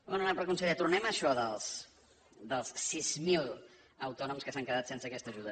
honorable conseller tornem a això dels sis mil autònoms que s’han quedat sense aquesta ajuda